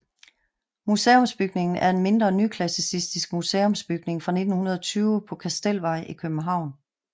Museumsbygningen er en mindre nyklassicistisk museumsbygning fra 1920 på Kastelsvej i København